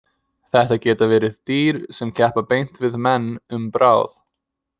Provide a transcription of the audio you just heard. Þetta geta verið dýr sem keppa beint við menn um bráð.